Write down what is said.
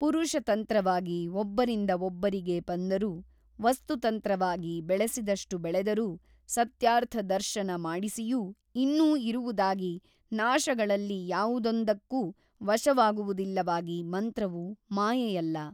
ಪುರುಷತಂತ್ರವಾಗಿ ಒಬ್ಬರಿಂದ ಒಬ್ಬರಿಗೆ ಬಂದರೂ ವಸ್ತುತಂತ್ರವಾಗಿ ಬೆಳೆಸಿದಷ್ಟು ಬೆಳೆದರೂ ಸತ್ಯಾರ್ಥದರ್ಶನ ಮಾಡಿಸಿಯೂ ಇನ್ನೂ ಇರುವುದಾಗಿ ನಾಶಗಳಲ್ಲಿ ಯಾವುದೊಂದಕ್ಕೂ ವಶವಾಗುವುದಿಲ್ಲವಾಗಿ ಮಂತ್ರವು ಮಾಯೆಯಲ್ಲ.